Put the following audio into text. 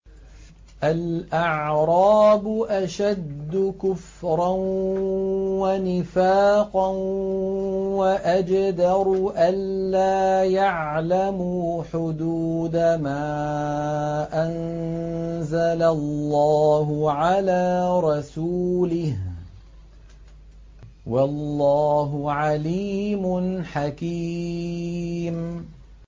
الْأَعْرَابُ أَشَدُّ كُفْرًا وَنِفَاقًا وَأَجْدَرُ أَلَّا يَعْلَمُوا حُدُودَ مَا أَنزَلَ اللَّهُ عَلَىٰ رَسُولِهِ ۗ وَاللَّهُ عَلِيمٌ حَكِيمٌ